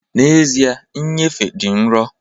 N'ezie, nnyefe dị nro